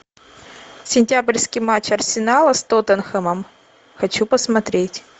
сентябрьский матч арсенала с тоттенхэмом хочу посмотреть